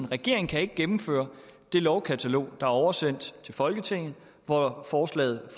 regeringen kan ikke gennemføre det lovkatalog er oversendt til folketinget hvori forslaget